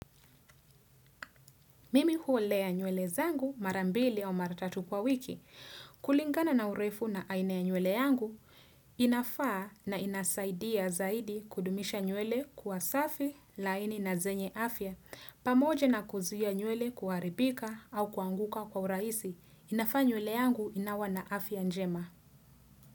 Mimi huolea nywele zangu mara mbili au mara tatu kwa wiki. Kulingana na urefu na aina ya nywele yangu, inafaa na inasaidia zaidi kudumisha nywele kuwa safi, laini na zenye afya. Pamoja na kuzuia nywele kuharibika au kuanguka kwa urahisi, inafaa nywele yangu inawa na afya njema.